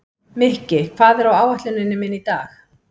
Mikki, hvað er á áætluninni minni í dag?